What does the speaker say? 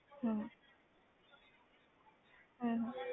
ਹਮ ਹਮ